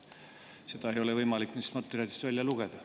Seda ei ole võimalik nendest materjalidest välja lugeda.